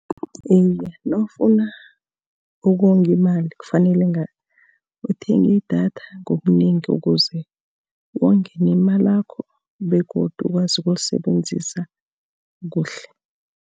Iye, nawufuna ukonga imali kufanele uthenge idatha ngobunengi ukuze wonge nemalakho, begodu ukwazi ukulisebenzisa kuhle.